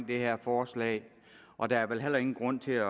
det her forslag og der er vel heller ingen grund til at